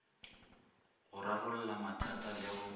go rarolla mathata le go